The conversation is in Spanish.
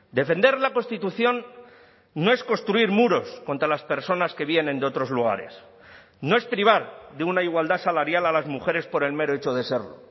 defender la constitución no es construir muros contra las personas que vienen de otros lugares no es privar de una igualdad salarial a las mujeres por el mero hecho de serlo